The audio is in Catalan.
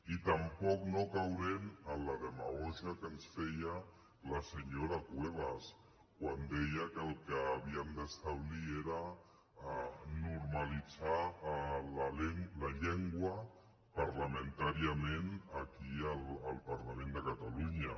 i tampoc no caurem en la demagògia que ens feia la senyora cuevas quan deia que el que havíem d’establir era normalitzar la llengua parlamentàriament aquí al parlament de catalunya